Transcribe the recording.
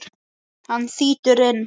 Hann þýtur inn.